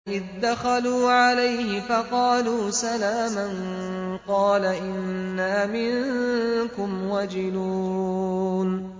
إِذْ دَخَلُوا عَلَيْهِ فَقَالُوا سَلَامًا قَالَ إِنَّا مِنكُمْ وَجِلُونَ